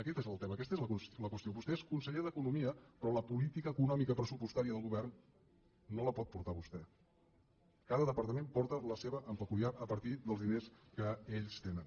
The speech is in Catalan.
aquest és el tema aquesta és la qüestió vostè és conseller d’economia però la política econòmica pressupostària del govern no la pot portar vostè cada departament porta la seva peculiar a partir dels diners que ells tenen